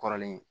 Kɔrɔlen